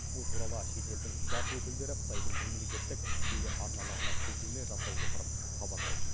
бұл туралы шетелдің бақ өкілдері қытайдың мемлекеттік телеарналарына сілтеме жасай отырып хабарлайды